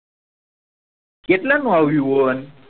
કેટલા નું આવ્યું ઓવન